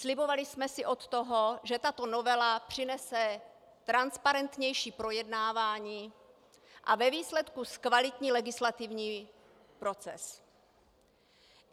Slibovali jsme si od toho, že tato novela přinese transparentnější projednání a ve výsledku zkvalitní legislativní proces.